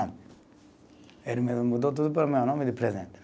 Ele mesmo mudou tudo para o meu nome de presente.